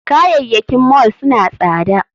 Kayayyakin mall suna tsada